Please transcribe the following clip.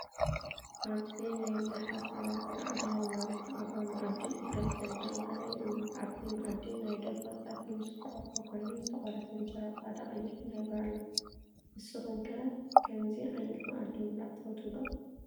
ኣብዚ ናይ ብዙሓት ሰባት አእዳው ናብ ዝተቀረበ መኣዲ ኢዶም ሰዲዶም ዘርኢ እዩ። ኣብቲ መኣዲ ናይ ደርሆ ፀብሒ ምስ እንቋቁሖ ኮይኑ ዝተቆረሰ እንጀራ ፃዕዳን ቀይሕን ሕብሪ ኣሎ። ንስኩም ከ ካምዚ ዓይነት መኣዲ ምብላዕ ትፈትው ዶ?